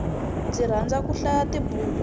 ndzi rhandza ku hlaya tibuku